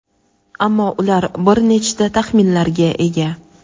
ammo ular bir nechta taxminlarga ega.